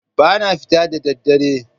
Ba na fita da ɗaddare.